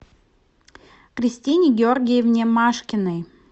кристине георгиевне машкиной